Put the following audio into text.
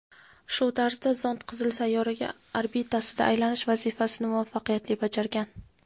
shu tarzda zond Qizil sayyora orbitasida aylanish vazifasini muvaffaqiyatli bajargan.